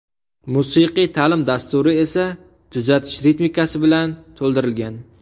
Musiqiy ta’lim dasturi esa tuzatish ritmikasi bilan to‘ldirilgan.